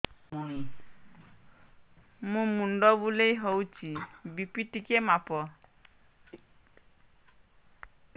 ମୋ ମୁଣ୍ଡ ବୁଲେଇ ହଉଚି ବି.ପି ଟିକେ ମାପ